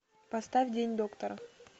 поставь день доктора